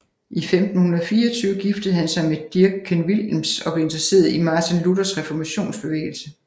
I 1524 giftede han sig med Dirckgen Willems og blev interesseret i Martin Luthers reformationsbevægelse